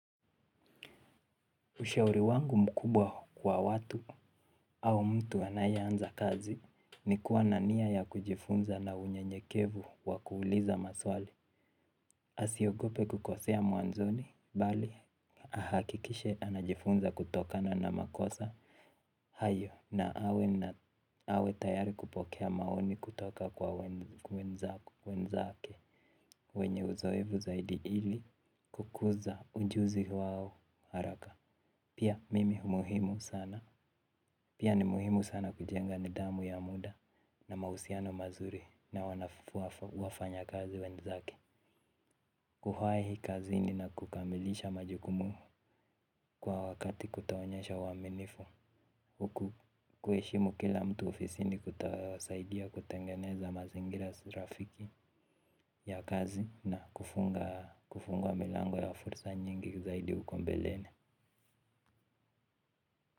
Ushauri wangu mkubwa kwa watu au mtu anayeanza kazi ni kuwa na nia ya kujifunza na unyenyekevu wa kuuliza maswali. Asiogope kukosea mwanzoni, bali ahakikishe anajifunza kutokana na makosa. Hayo na awe tayari kupokea maoni kutoka kwa wenzake. Wenye uzoefu zaidi ili kukuza ujuzi wao haraka. Pia mimi umuhimu sana. Pia ni muhimu sana kujenga nidhamu ya muda na mahusiano mazuri na wafanyakazi wenzake. Kuwahi hii kazi inakukamilisha majukumu kwa wakati kutoonyesha uaminifu kuheshimu kila mtu ofisini kutasaidia kutengeneza mazingira rafiki ya kazi na kufungua milango ya fursa nyingi zaidi huko mbeleni.